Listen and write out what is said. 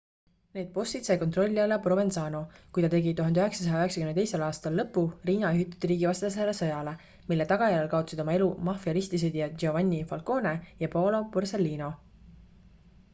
need bossid sai kontrolli alla provenzano kui ta tegi 1992 aastal lõpu riina juhitud riigivastasele sõjale mille tagajärjel kaotasid oma elu maffia ristisõdijad giovanni falcone ja paolo borsellino